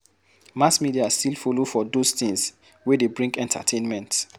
Mass media still follow for those things wey dey bring entertainment